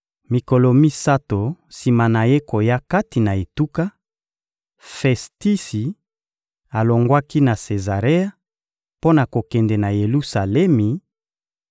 Mikolo misato sima na ye koya kati na etuka, Festisi alongwaki na Sezarea mpo na kokende na Yelusalemi